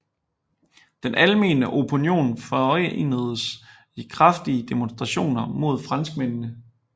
Den almene opinion forenedes i kraftige demonstrationer mod franskmændene